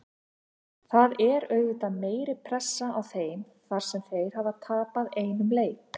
Það er auðvitað meiri pressa á þeim þar sem þeir hafa tapað einum leik.